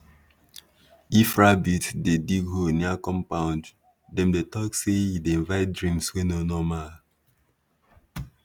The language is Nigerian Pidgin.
if rabbit dey dig hole near compound dem dey talk say e dey invite dreams wey no normal